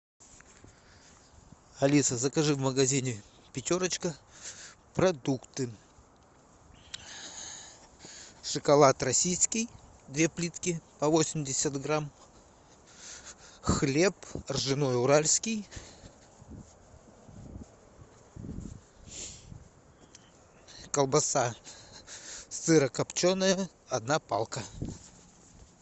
алиса закажи в магазине пятерочка продукты шоколад российский две плитки по восемьдесят грамм хлеб ржаной уральский колбаса сырокопченая одна палка